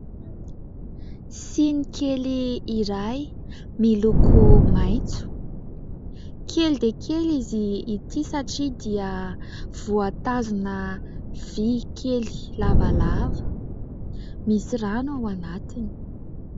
Siny kely iray miloko maitso. Kely dia kely izy ity satria dia voatazona vy kely lavalava misy rano ao anatiny.